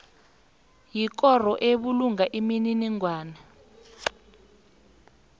yikoro ebulunga imininingwana